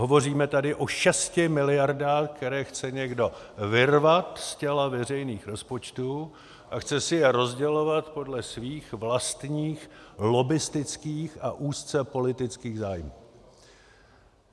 Hovoříme tady o šesti miliardách, které chce někdo vyrvat z těla veřejných rozpočtů a chce si je rozdělovat podle svých vlastních lobbistických a úzce politických zájmů.